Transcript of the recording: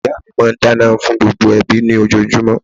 Ìyá mi máa n dáná fún gbogbo ẹbí ní ojojúmó